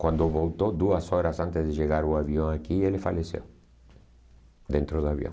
Quando voltou, duas horas antes de chegar o avião aqui, ele faleceu dentro do avião.